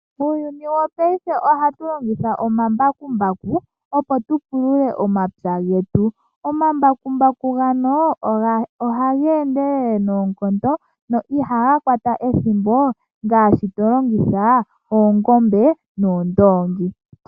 Muuyuni wopaife ohatu longitha omambakumbaku, opo tu pulule omapya getu. Omambakumbaku ngoka ohaga endelele noonkondo, na ihaga kwata ethimbo ngaashi to longitha oongombe noondoongi.